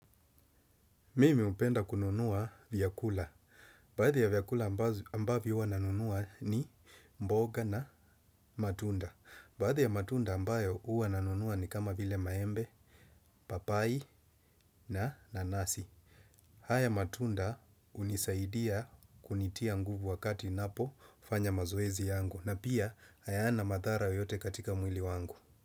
Mimi hupenda kununua vyakula. Baadhi ya vyakula ambavyo hua nanunua ni mboga na matunda. Baadhi ya matunda ambayo hua nanunua ni kama vile maembe, papai na nanasi. Haa ya matunda hunisaidia kunitia nguvu wakati ninapo fanya mazoezi yangu. Na pia hayana madhara yoyote katika mwili wangu.